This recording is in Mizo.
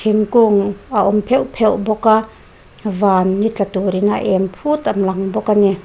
thingkung a awm pheuh pheuh bawk a van ni tla turin a em phut a lang bawk a ni.